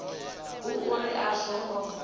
hu uri a zwo ngo